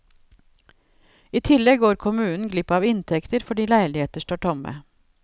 I tillegg går kommunen glipp av inntekter fordi leiligheter står tomme.